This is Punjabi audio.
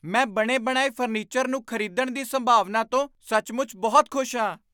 ਮੈਂ ਬਣੇ ਬਣਾਏ ਫਰਨੀਚਰ ਨੂੰ ਖ਼ਰੀਦਣ ਦੀ ਸੰਭਾਵਨਾ ਤੋਂ ਸੱਚਮੁੱਚ ਬਹੁਤ ਖੁਸ਼ ਹਾਂ